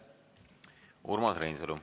Urmas Reinsalu.